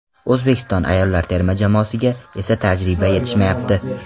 O‘zbekiston ayollar terma jamoasiga esa tajriba yetishmayapti.